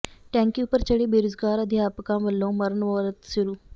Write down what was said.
ਟੈਂਕੀ ਉਪਰ ਚੜੇ ਬੇਰੁਜ਼ਗਾਰ ਅਧਿਆਪਕਾਂ ਵੱਲੋਂ ਮਰਨ ਵਰਤ ਸ਼ੁਰੂ